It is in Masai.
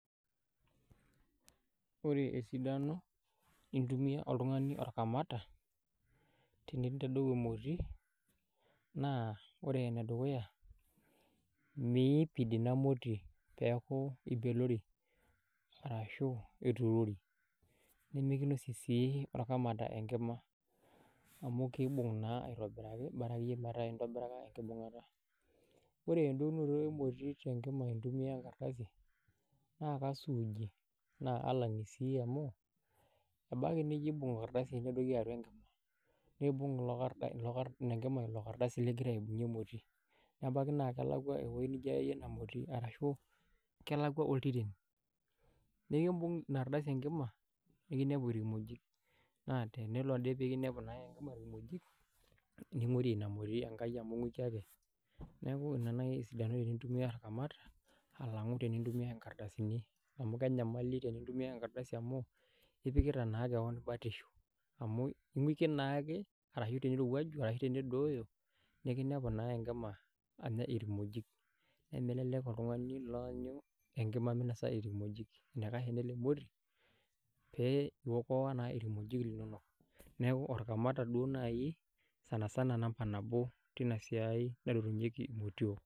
Orebesidano nintumia oltungani orkamata tenintadou emoti ore enedukuya mipid inamoti neaky ibeleori nimikosie naa orkamata enkima bora akeyie metaa enkibungata ore entadounye emoti intumia enkrdasi na kasuuji na alani pii amu ebaki nijo aibung enkardasi nedoki atua enkima nedoki enlardasi enkima nebaki na ebaki na kelakwa ewoi nijo aya enamoti ashu ebaki nelakwa oltiten nekimbung inaardasi enkika nikinepu irkimojik na tenelo ade pikinepu irkimojik nimpirie enkai inamoti amu inguki ake neaku ina nai esidano tenintumia orkamata alang enitumiai enkardasi ipikita naa keon batisho amu tenedooyo nikinepu enkika anya irkimojik nemelelk oltungani oanyu minosa irkimoji enikash enilepori ningua irkimojik linono